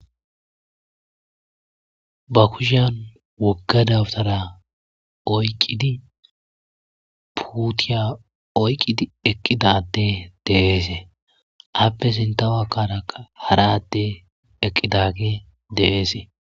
ba kushyan wogga dawtara oyqqidi puutiya oyqqidi eqqidadde deeesee appe sintawakkaraa hara adde eqqidagi deeesee